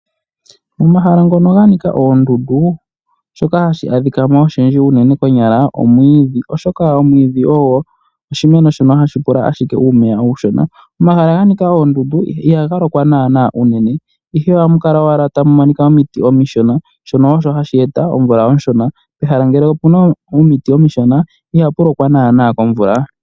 Momahala ngoka ga nika oondundu ohamu adhika unene omwiidhi oshoka omwiidhi ohagu pula owala omeya omashona. Pomahala ganika oondundu ihapu lokwa naanaa unene molwashoka omuna omiti omishona. Pehala mpoka puna omiti omishona ihapu lokwa omvula oyindji.